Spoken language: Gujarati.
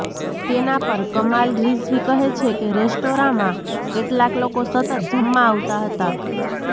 તેના પર કમાલ રિઝવી કહે છે કે રેસ્ટોરાંમાં કેટલાંક લોકો સતત જમવા આવતા હતા